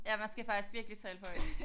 Ja man skal faktisk virkelig tale højt